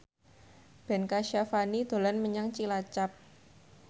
Ben Kasyafani dolan menyang Cilacap